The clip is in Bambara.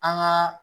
An ka